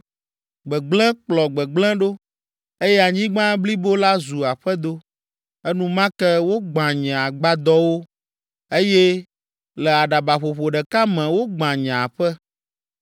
Gbegblẽ kplɔ gbegblẽ ɖo eye anyigba blibo la zu aƒedo. Enumake wogbã nye agbadɔwo eye le aɖabaƒoƒo ɖeka me wogbã nye aƒe.